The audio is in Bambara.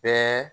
Bɛɛ